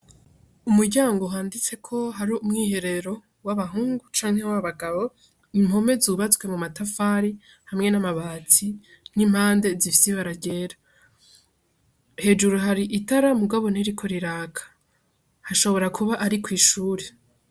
Umuryango wanditseko hari umwiherero w'abahungu canke w'abagabo, impome zubatswe mu matafari hamwe n'amabati n'impande zifise ibara ryera, hejuru hari itara ariko ntiriko riraka hashobora kuba ari kwishure.